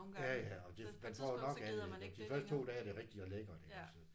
Ja ja og det man får jo nok af det iggå de første 2 dage er det rigtig lækkers iggås